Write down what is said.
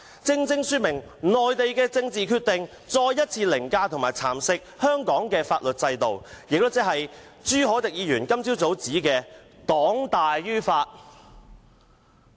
這正正說明內地的政治決定再一次凌駕及蠶食香港的法律制度，亦即朱凱廸議員今早所指的"黨大於法"。